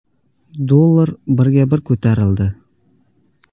Dollar birga bir ko‘tarildi.